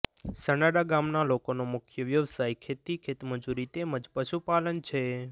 સનાડા ગામના લોકોનો મુખ્ય વ્યવસાય ખેતી ખેતમજૂરી તેમ જ પશુપાલન છે